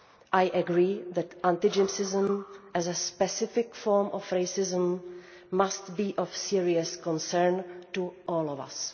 I agree that anti Gypsyism, as a specific form of racism, must be of serious concern to all of us.